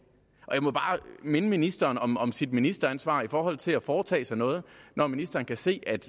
jeg må bare minde ministeren om sit ministeransvar i forhold til at foretage sig noget når ministeren kan se at